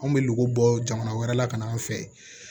Anw bɛ lu bɔ jamana wɛrɛ la ka n'an fɛ